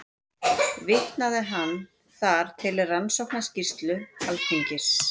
Vitnaði hann þar til Rannsóknarskýrslu Alþingis